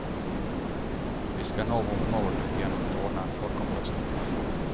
Vi ska nå vårt mål genom att ordna en folkomröstning.